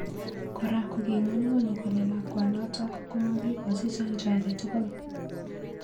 Kora koking'unyng'uny kole lakwanotok komakikochi chanjo ake tugul